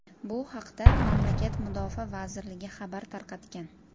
Bu haqda mamlakat mudofaa vazirligi xabar tarqatgan .